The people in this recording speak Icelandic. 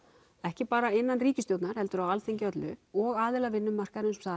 ekki bara innan ríkisstjórnar heldur á Alþingi öllu og aðila á vinnumarkaðnum